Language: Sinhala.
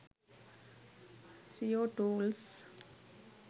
seo tools